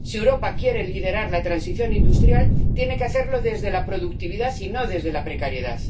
Si Europa quiere liderar la transición industrial, tiene que hacerlo desde la productividad y no desde la precariedad.